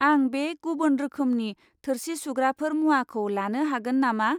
आं बे गुबुन रोखोमनि थोरसि सुग्राफोर मुवाखौ लानो हागोन नामा?